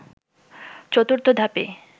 ৪র্থ ধাপে